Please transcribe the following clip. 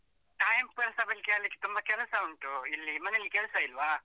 Timepass ಆಗ್ಲಿಕ್ಕೆ ತುಂಬಾ ಕೆಲಸ ಉಂಟು, ಇಲ್ಲಿ ಮನೆಯಲ್ಲಿ ಕೆಲಸ ಇಲ್ವಾ?